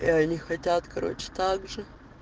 они хотят короче также